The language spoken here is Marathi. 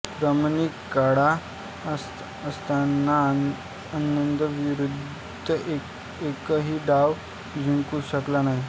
क्रॅमनिक काळा असताना आनंदविरुद्ध एकही डाव जिंकू शकला नाही